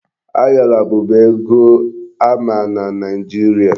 Ayọla bụbu ego a ma na Nigeria.